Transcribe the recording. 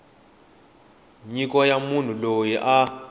nyiko ya munhu loyi a